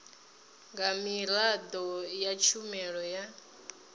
nga miraḓo ya tshumelo ya